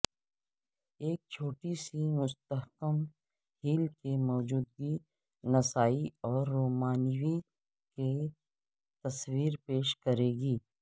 ایک چھوٹی سی مستحکم ہیل کی موجودگی نسائی اور رومانوی کی تصویر پیش کرے گی